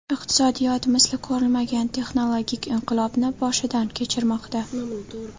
Iqtisodiyot misli ko‘rilmagan texnologik inqilobni boshidan kechirmoqda.